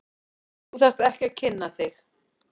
Þú þarft ekki að kynna þig.